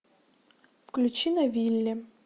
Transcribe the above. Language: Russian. включи на вилле